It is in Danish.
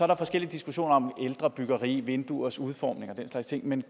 der forskellige diskussioner om ældre byggeri og vinduers udformning og den slags ting men